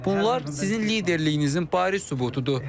Bunlar sizin liderliyinizin bariz sübutudur.